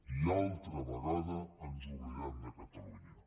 i una altra vegada ens oblidem de catalunya